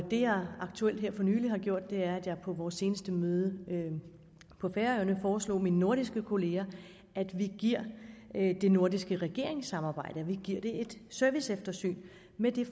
det jeg aktuelt har gjort her er at jeg på vores seneste møde på færøerne foreslog mine nordiske kolleger at vi giver det nordiske regeringssamarbejde et serviceeftersyn med